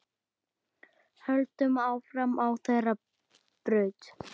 Höldum áfram á þeirri braut.